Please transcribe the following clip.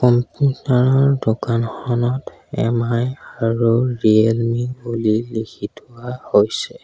দোকানখনত এম_আই আৰু ৰিয়েলমি বুলি লিখি থোৱা হৈছে।